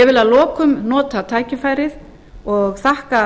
ég vil að lokum nota tækifærið og þakka